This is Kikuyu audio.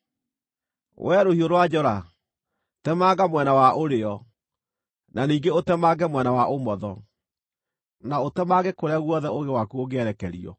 Wee rũhiũ rwa njora, temanga mwena wa ũrĩo, na ningĩ ũtemange mwena wa ũmotho, na ũtemange kũrĩa guothe ũũgĩ waku ũngĩerekerio.